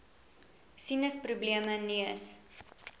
sinus probleme neus